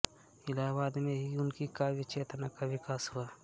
इलाहाबाद में ही उनकी काव्यचेतना का विकास हुआ